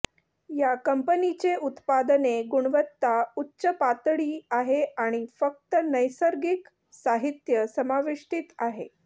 या कंपनीचे उत्पादने गुणवत्ता उच्च पातळी आहे आणि फक्त नैसर्गिक साहित्य समाविष्टीत आहे